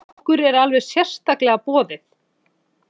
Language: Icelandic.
Okkur er alveg sérstaklega boðið.